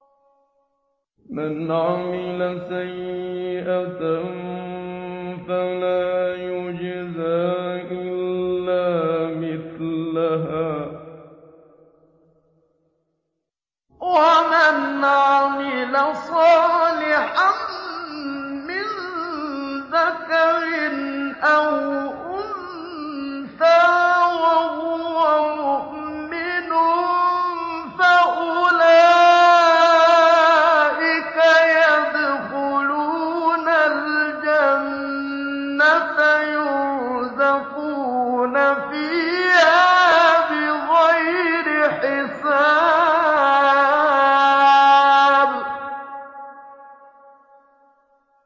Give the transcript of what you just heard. مَنْ عَمِلَ سَيِّئَةً فَلَا يُجْزَىٰ إِلَّا مِثْلَهَا ۖ وَمَنْ عَمِلَ صَالِحًا مِّن ذَكَرٍ أَوْ أُنثَىٰ وَهُوَ مُؤْمِنٌ فَأُولَٰئِكَ يَدْخُلُونَ الْجَنَّةَ يُرْزَقُونَ فِيهَا بِغَيْرِ حِسَابٍ